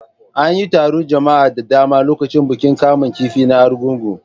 An yi taron jama'a da dama a lokacin bukin kamun kifi na Argungun.